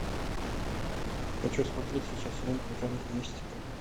хочу смотреть сейчас ленту в жанре мистика